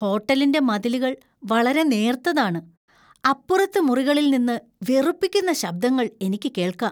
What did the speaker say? ഹോട്ടലിന്‍റെ മതിലുകൾ വളരെ നേർത്തതാണ്, അപ്പുറത്തെ മുറികളിൽ നിന്ന് വെറുപ്പിക്കുന്ന ശബ്ദങ്ങൾ എനിക്ക് കേൾക്കാം.